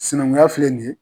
Sinankunya filɛ nin ye